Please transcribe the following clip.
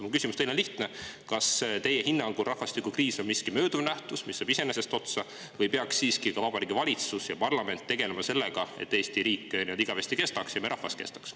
Mu küsimus teile on lihtne: kas teie hinnangul on rahvastikukriis mööduv nähtus, mis saab iseenesest otsa, või peaksid siiski ka Vabariigi Valitsus ja parlament tegelema sellega, et Eesti riik ja meie rahvas igavesti kestaks?